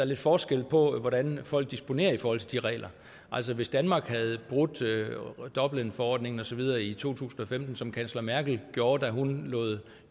lidt forskel på hvordan folk disponerer i forhold til de regler altså hvis danmark havde brudt dublinforordningen og så videre i to tusind og femten som kansler merkel gjorde da hun lod